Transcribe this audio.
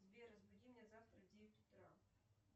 сбер разбуди меня завтра в девять утра